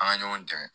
An ka ɲɔgɔn dɛmɛ